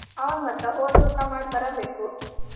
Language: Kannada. ಹೌದ್ ಮತ್ತ ಹೋದ್ರ ಊಟಾ ಮಾಡ್ ಬರಬೇಕು.